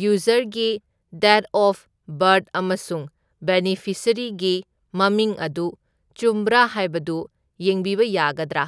ꯌꯨꯖꯔꯒꯤ date of birth ꯑꯃꯁꯨꯡ ꯕꯦꯅꯤꯐꯤꯁꯔꯤꯒꯤ ꯃꯃꯤꯡ ꯑꯗꯨ ꯆꯨꯝꯕ꯭ꯔꯥ ꯍꯥꯏꯕꯗꯨ ꯌꯦꯡꯕꯤꯕ ꯌꯥꯒꯗ꯭ꯔꯥ?